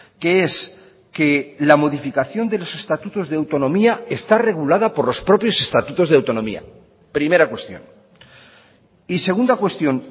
que es que la modificación de los estatutos de autonomía está regulada por los propios estatutos de autonomía primera cuestión y segunda cuestión